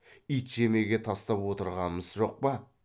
ит жемеге тастап отырғамыз жоқ па